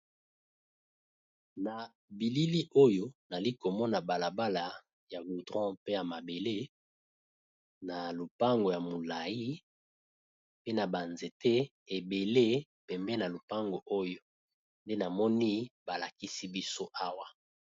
Na bilili oyo nali komona balabala ya goudron pe ya mabele na lopango ya molai pe na banzete ebele pembe na lopango oyo nde namoni balakisi biso awa.